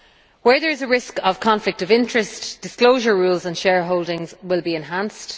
Where there is a risk of conflict of interest, disclosure rules on shareholdings will be enhanced.